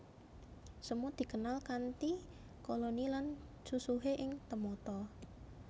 Semut dikenal kanthi koloni lan susuhé sing temata